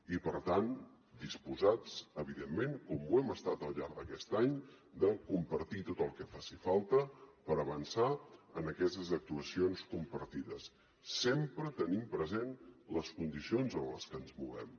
i per tant disposats evidentment com ho hem estat al llarg d’aquest any a compartir tot el que faci falta per avançar en aquestes actuacions compartides sempre tenint present les condicions en les que ens movem